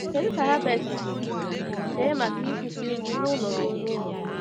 Kedu ka Herbert si chee maka ikwusa ozi n’ụlọ ruo n’ụlọ?